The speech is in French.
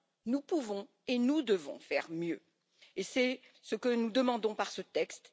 Nous pouvons et devons néanmoins faire mieux, et c'est ce que nous demandons par ce texte.